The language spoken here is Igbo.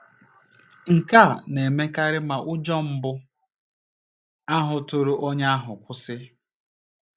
Nke a na - emekarị ma ụjọ mbụ ahụ tụrụ onye ahụ kwụsị.